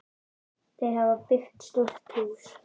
Þau hafa byggt stórt hús.